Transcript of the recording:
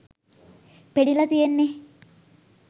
පෙනිලා තියෙන්නෙ